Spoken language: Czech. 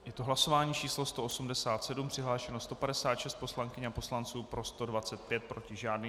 Je to hlasování číslo 187, přihlášeno 156 poslankyň a poslanců, pro 125, proti žádný.